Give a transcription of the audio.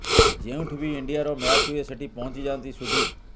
ଯେଉଁଠି ବି ଇଣ୍ଡିଆର ମ୍ୟାଚ୍ ହୁଏ ସେଠି ପହଞ୍ଚି ଯାଆନ୍ତି ସୁଧୀର